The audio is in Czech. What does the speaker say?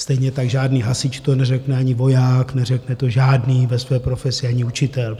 Stejně tak žádný hasič to neřekne, ani voják, neřekne to žádný ve své profesi, ani učitel.